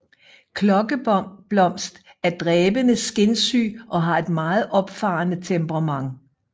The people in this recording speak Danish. Klokkeblomst er dræbende skinsyg og har et meget opfarende temperament